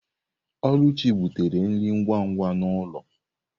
Oluchi butere nri ngwa ngwa n'ulo.